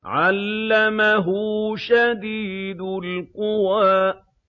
عَلَّمَهُ شَدِيدُ الْقُوَىٰ